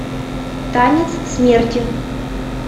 танец смерти